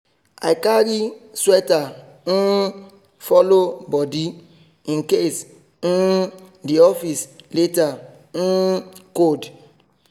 i carry sweater um follow body in case um the office later um cold.